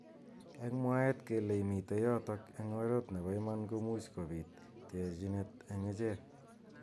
Eng mwaet kele mitei yotok eng oret nebo iman komuch kobit terjinet eng ichek.